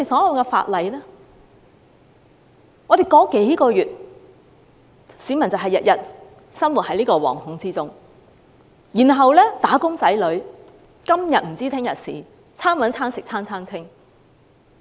我們已談論了數個月，市民每天生活在惶恐之中，"打工仔女"看不到出路，"餐搵餐食餐餐清"。